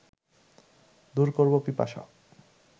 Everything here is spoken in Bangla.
দূর করব পিপাসা